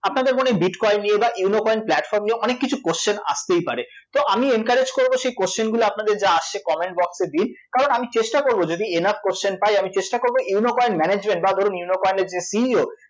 আপনাদের মনে bitcoin নিয়ে বা ইউনো কয়েন platform নিয়ে অনেককিছু question আসতেই পারে তো আমি encourage করব সেই question গুলো আপনাদের যা আসছে comment box এ দিন কারণ আমি চেষ্টা করব যদি enough question পাই আমি চেষ্টা করব ইউনো কয়েন management বা ধরুন ইউনো কয়েনের যে CEO